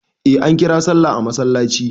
Eh ankira sallah a masallaci.